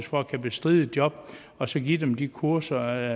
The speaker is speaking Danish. for at kunne bestride et job og så give dem de kurser